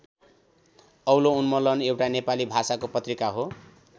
औलो उन्मूलन एउटा नेपाली भाषाको पत्रिका हो।